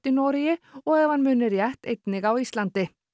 í Noregi og ef hann muni rétt einnig á Íslandi